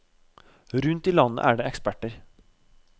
Rundt i landet er det eksperter.